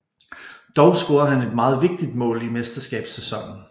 Dog scorede han et meget vigtigt mål i mesterskabssæsonen